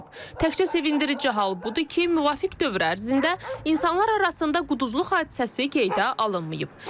Təkcə sevindirici hal budur ki, müvafiq dövr ərzində insanlar arasında quduzluq hadisəsi qeydə alınmayıb.